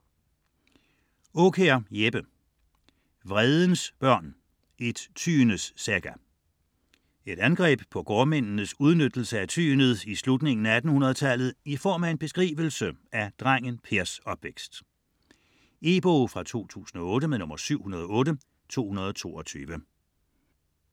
Aakjær, Jeppe: Vredens Børn: et Tyendes Saga Et angreb på gårdmændenes udnyttelse af tyendet i slutningen af 1800-tallet i form af en beskrivelse af drengen Pers opvækst. E-bog 708222 2008.